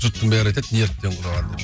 жұрттың бәрі айтады нервтен қураған деп